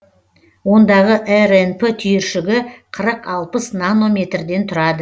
ондағы рнп түйіршігі қырық алпыс нанометрден тұрады